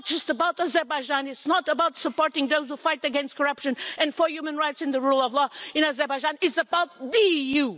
It's not just about Azerbaijan, it's not about supporting those who fight against corruption and for human rights and the rule of law in Azerbaijan, it's about the EU.